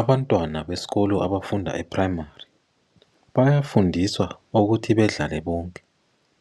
Abantwana besikolo abafunda e primary, bayafundiswa ukuthi badlale bonke.